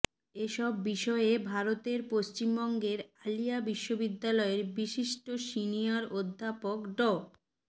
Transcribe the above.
এসব বিষয়ে ভারতের পশ্চিমবঙ্গের আলিয়া বিশ্ববিদ্যালয়ের বিশিষ্ট সিনিয়র অধ্যাপক ড